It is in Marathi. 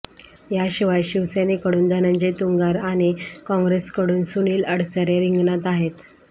याशिवाय शिवसेनेकडून धनंजय तुंगार आणि काँग्रेसकडून सुनील अडसरे रिंगणात आहेत